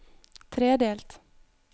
tredelt